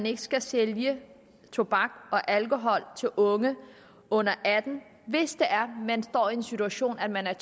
ikke skal sælge tobak og alkohol til unge under attende hvis man står i den situation at man er